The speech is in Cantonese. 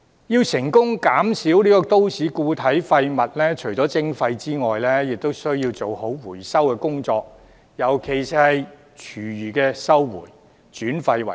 要成功減少都市固體廢物，除了徵費外，亦需要做好回收工作，尤其是廚餘回收，轉廢為能。